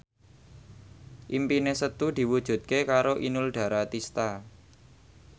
impine Setu diwujudke karo Inul Daratista